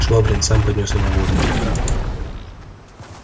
швабрин сам поднёс ему водки